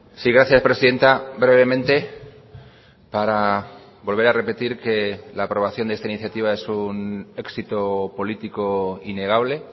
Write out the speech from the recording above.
sí gracias presidenta brevemente para volver a repetir que la aprobación de esta iniciativa es un éxito político innegable